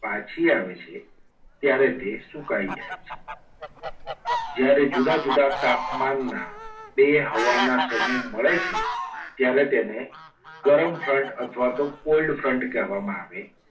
પાછી આવે છે. ત્યારે તે સુકાઈ જાય છે. જ્યારે જુદા જુદા તાપમાનના બે હવાના સમૂહ મળે છે. ત્યારે તેને ગરમ front અથવા તો cold front કહેવામાં આવે છે.